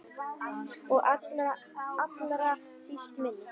Og allra síst minn.